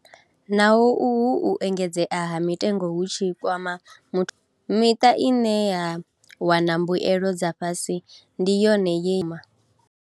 Naho uhu u engedzeaha mitengo hu tshi kwama muthu, miṱa ine ya wana mbuelo dza fhasi ndi yone yeima.